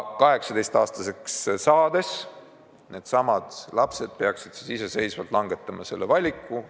18-aastaseks saades needsamad lapsed peaksid siis iseseisvalt langetama selle valiku.